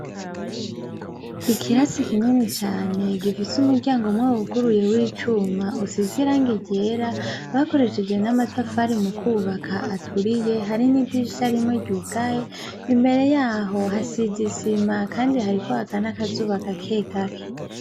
Ikirasi kinini cane gifise umuryango umwe wuguruye w'icuma usize irangi ryera, bakoresheje n'amatafari mu kwubaka, aturiye harimwo idirisha rimwe ryugaye. Imbere yaho hasize isima kandi hariko haka n'akazuba gake gake.